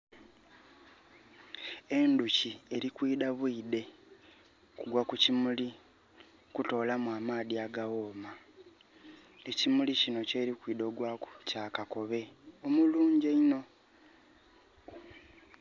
Endhuki eri kwidha bwidhe kugwa ku kimuli kutolamu amaadhi agaghoma. Ekimuli kino kyeri kwidha ogwaku kya kakobe omulungi einho.